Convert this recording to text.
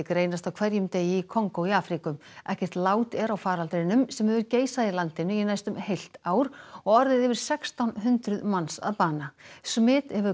greinast á hverjum degi í Kongó í Afríku ekkert lát er á faraldrinum sem hefur geisað í landinu í næstum heilt ár og orðið yfir sextán hundruð manns að bana smit hefur